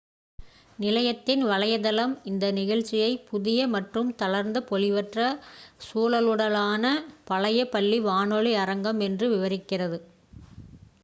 "நிலையத்தின் வலைத்தளம் இந்த நிகழ்ச்சியை "புதிய மற்றும் தளர்ந்த பொலிவற்ற சுழலுடனான பழைய பள்ளி வானொலி அரங்கம்!" என்று விவரிக்கிறது